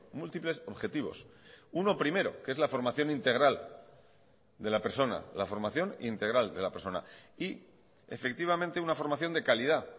múltiples objetivos uno primero que es la formación integral de la persona la formación integral de la persona y efectivamente una formación de calidad